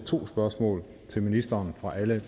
to spørgsmål til ministeren fra alle